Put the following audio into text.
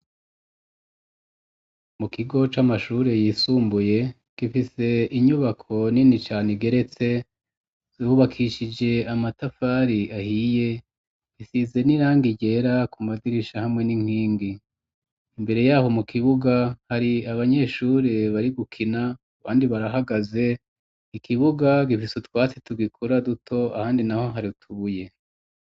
Mu kigo c'amashuri yisumbuye gifise inyubako nini cane igeretse yubakishije amatafari ahiye isize n'irangi ryera ku madirisha hamwe n'inkingi imbere yaho mu kibuga hari abanyeshuri bari gukina abandi barahagaze ikibuga gifise utwatsi tugikura duto ahandi naho hari tubuye